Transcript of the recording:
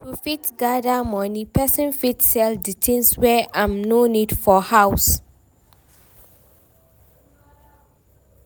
To fit gather money, person fit sell di things wey im no need for house